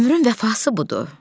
Ömrün vəfası budur.